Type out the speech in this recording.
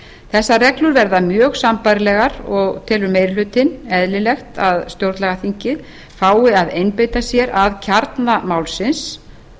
þessar reglur verði mjög sambærilegar og telur meiri hlutinn eðlilegt að stjórnlagaþingið fái að einbeita sér að kjarna málsins